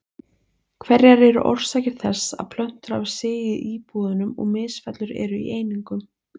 Hverjar eru orsakir þess að plötur hafa sigið í íbúðunum og misfellur eru í einingum?